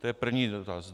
To je první dotaz.